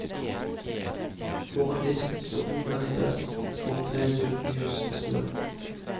Foran disken står to menn i dress og tre sultne jusstudenter.